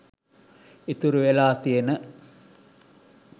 ඉතුරු වෙලා තියෙන